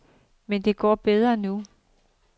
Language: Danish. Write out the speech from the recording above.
Men det går bedre nu.